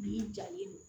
Bin jalen don